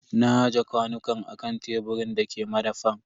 Na aje kwanukan a kan teburin da ke madafan.